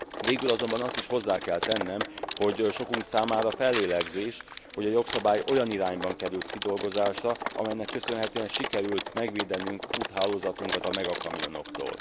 Végül azonban azt is hozzá kell tennem, hogy sokunk számára fellélegzés, hogy a jogszabály olyan irányban került kidolgozásra, amelynek köszönhetően sikerült megvédenünk úthálózatunkat a megakamionoktól.